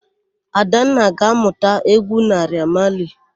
Adanna ga-ámụ̀ta égwú Naịra Mali.